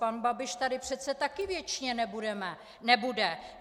Pan Babiš tady přece taky věčně nebude.